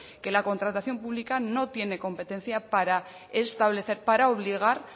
que la contratación pública no tiene competencia para establecer para obligar